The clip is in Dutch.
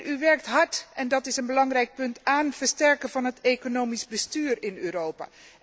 U werkt hard en dat is een belangrijk punt aan de versterking van het economisch bestuur in Europa.